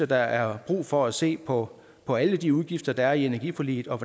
der er brug for at se på på alle de udgifter der er i energiforliget og